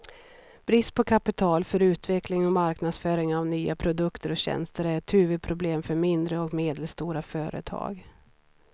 Brist på kapital för utveckling och marknadsföring av nya produkter och tjänster är ett huvudproblem för mindre och medelstora företag.